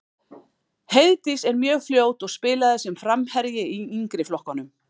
Heiðdís er mjög fljót og spilaði sem framherji í yngri flokkunum.